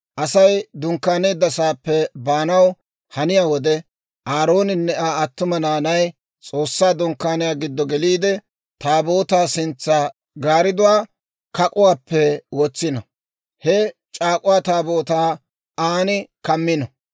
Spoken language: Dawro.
«Asay dunkkaaneedda saappe baanaw haniyaa wode, Aarooninne Aa attuma naanay S'oossaa Dunkkaaniyaa giddo geliide, Taabootaa sintsa gaaridduwaa kak'uwaappe wotsino; he C'aak'uwaa Taabootaa aan kammino.